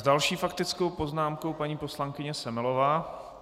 S další faktickou poznámkou paní poslankyně Semelová.